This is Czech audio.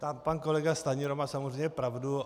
Pan kolega Stanjura má samozřejmě pravdu.